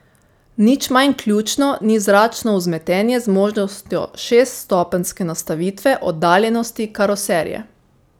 Nič manj ključno ni zračno vzmetenje z možnostjo šeststopenjske nastavitve oddaljenosti karoserije.